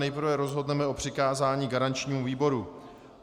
Nejprve rozhodneme o přikázání garančnímu výboru.